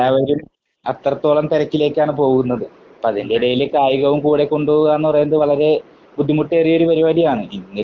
എല്ലാവരും അത്രത്തോളം തെരക്കിലേക്കാണ് പോകുന്നത്. അപ്പോൾ അതിന്റെ എടയിൽ കായികവും കൂടെ കൊണ്ട് പോവാ എന്ന് പറയുന്നത് വളരെ ബുദ്ധിമുട്ടേറിയ ഒരു പരിപാടിയാണ്.